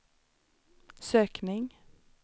sökning